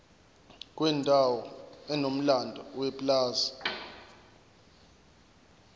kwendawo enomlando yepulazi